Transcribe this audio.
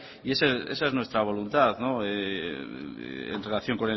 y esa es nuestra voluntad en relación